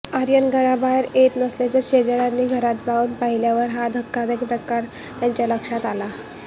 आर्यन घराबाहेर येत नसल्याने शेजाऱ्यांनी घरात जाऊन पाहिल्यावर हा धक्कादायक प्रकार त्यांच्या लक्षात आला